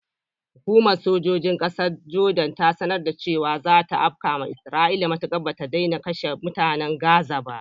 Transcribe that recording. Hukumar sojojin ƙasar Jordan ta sanar da cewa zata afkawa isra'ila matukar bata daina kashe mutanen gaza ba.